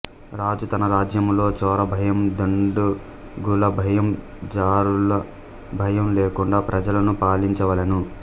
రాజు తన రాజ్యములో చోరభయం దుండగులభయం జారుల భయం లేకుండా ప్రజలను పాలించ వలెను